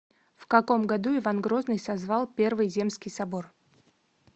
в каком году иван грозный созвал первый земский собор